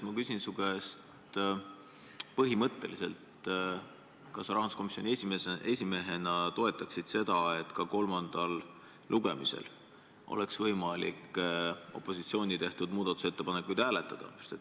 Ma küsin su käest põhimõtteliselt, kas sa rahanduskomisjoni esimehena toetaksid, et ka kolmandal lugemisel oleks võimalik opositsiooni tehtud muudatusettepanekuid hääletada.